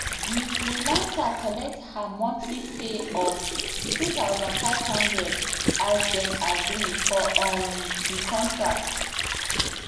di freelancer collect her monthly pay of two thousand five hundred as dem agree for um di contract